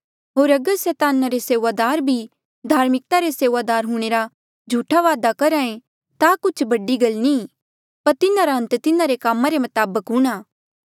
होर अगर सैताना रे सेऊआदार भी धार्मिकता रे सेऊआदार हूंणे रा झूठा दावा करहा ऐें ता कुछ बड़ी गल नी ई पर तिन्हारा अन्त तिन्हारे कामा रे मताबक हूंणां